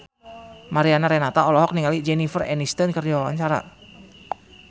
Mariana Renata olohok ningali Jennifer Aniston keur diwawancara